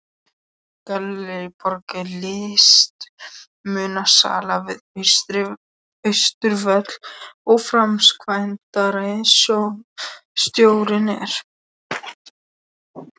Gallerí Borg er listmunasala við Austurvöll og framkvæmdastjóri er